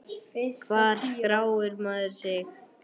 Hvar skráir maður sig?